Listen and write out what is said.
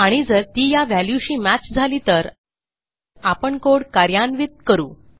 आणि जर ती या व्हॅल्यूशी मॅच झाली तर आपण कोड कार्यान्वित करू